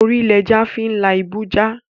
Ori l'eja fin la ibu ja